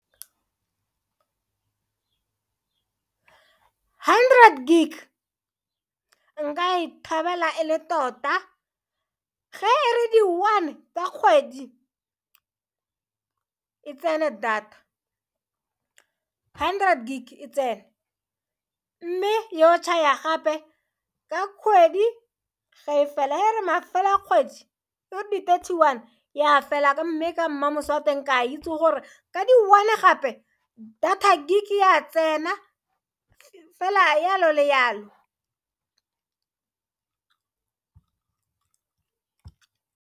Hundred gig nka e thabela e le tota ge e re di one tsa kgwedi e tsene data hundred gig e tsene mme yo tšhaya gape ka kgwedi ga e fela ya re mafelo a kgwedi e re di thirty one ya fela mme ka mmamoso o teng ke a itse gore ka di one gape data gig ya tsena fela le yalo le yalo.